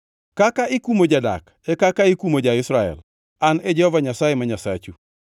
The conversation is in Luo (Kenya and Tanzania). Kaka ikumo jadak e kaka ikumo ja-Israel. An e Jehova Nyasaye ma Nyasachu.’ ”